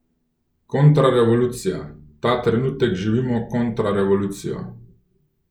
Kontrarevolucija: 'Ta trenutek živimo kontrarevolucijo!